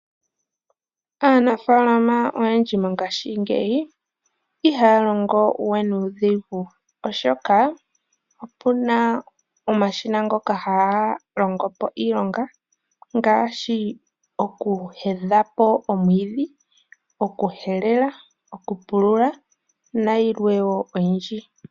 Aanafaalama oyendji mongaashingeyi ihaya longo we nuudhigu oshoka opuna omashina ngoka haga longopo iilonga ngaashi okuhelelapo omwiidhi, okuhelela, okupulula nayilwe wo oyindji.